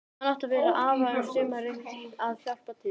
Hann átti að vera hjá afa um sumarið að hjálpa til.